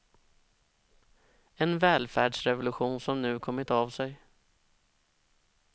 En välfärdsrevolution som nu kommit av sig.